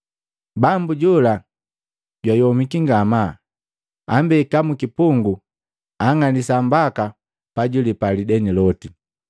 Bambu jola jwayomiki ngamaa, ambeka mukipungu anng'alisa mbaka pajwiilepa lideni loti.”